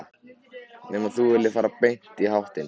Nema þú viljir fara beint í háttinn.